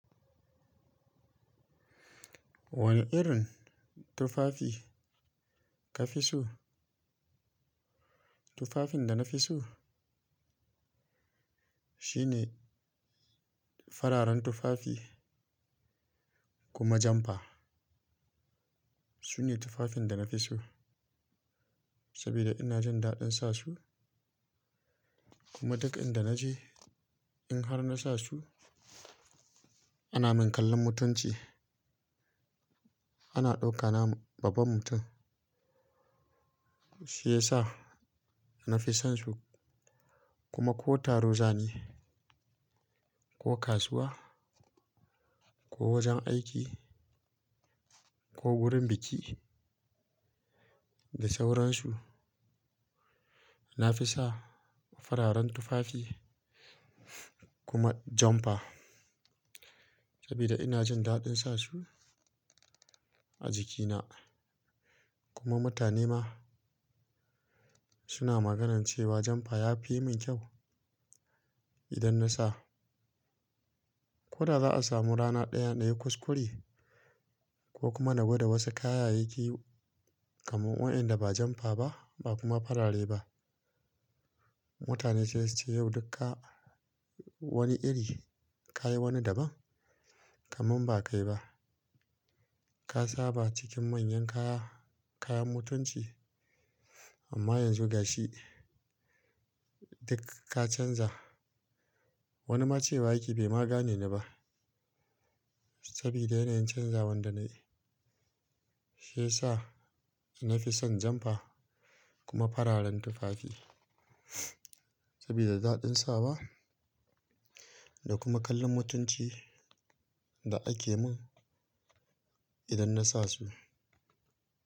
Wane irin tufafi ka fi so? Tufafin da na fi so shine fararen tufafi kuma jampa. Su ne tufafin da na fi so saboda ina jin daɗin sa su kuma duk inda naje in har na sa su ana min kallon mutunci. Ana ɗaukana babban mutum, shi ya sa na fi son su kuma ko taro za ni, ko kasuwa, ko wajen aiki ko wurin biki da sauran su, na fi sa fararen tufafi kuma jampa saboda ina jin daɗin sa su a jikina kuma mutane ma suna magana cewa jampa ya fi min kyau idan na sa. Ko da za a samu rana ɗaya na yayi kuskure ko kuma na gwada wasu kayayyaki kamar waɗanda ba jampa ba ba kuma farare ba, mutane sai su ce, "Yau duk ka wani iri, ka yi wani daban, kamin ba kai ba. Ka saba cikin manyan kaya, kayan mutunci amma yanzu ga shi duk ka canza." Wani ma cewa, "yake bai magane ni ba saboda yanayin canza wanda na yi." Shi ya sa na fi son jampa kuma fararen tufafi saboda daɗin sa wa da kuma kallon mutunci da ake min idan na sa su.